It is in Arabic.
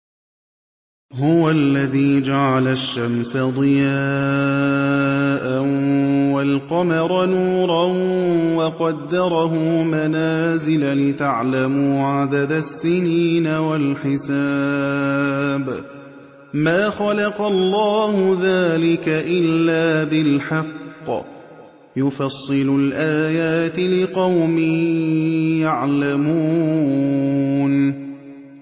هُوَ الَّذِي جَعَلَ الشَّمْسَ ضِيَاءً وَالْقَمَرَ نُورًا وَقَدَّرَهُ مَنَازِلَ لِتَعْلَمُوا عَدَدَ السِّنِينَ وَالْحِسَابَ ۚ مَا خَلَقَ اللَّهُ ذَٰلِكَ إِلَّا بِالْحَقِّ ۚ يُفَصِّلُ الْآيَاتِ لِقَوْمٍ يَعْلَمُونَ